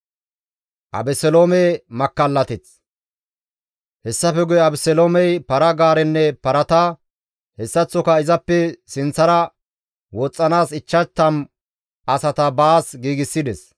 Hessafe guye Abeseloomey para-gaarenne parata, hessaththoka izappe sinththara woxxanaas 50 asata baas giigsides.